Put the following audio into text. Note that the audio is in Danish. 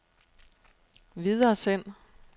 videresend